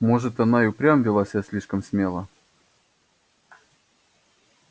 может она и впрямь вела себя слишком смело